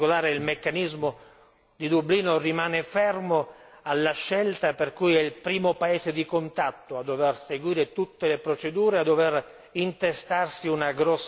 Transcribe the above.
in particolare, il meccanismo di Dublino rimane fermo alla scelta per cui è il primo paese di contatto a dover seguire tutte le procedure, a dover intestarsi una